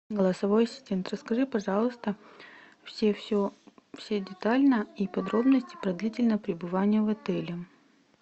голосовой ассистент расскажи пожалуйста все все все детально и подробности про длительное пребывание в отеле